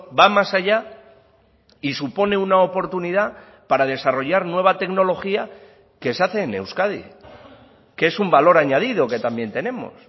va más allá y supone una oportunidad para desarrollar nueva tecnología que se hace en euskadi que es un valor añadido que también tenemos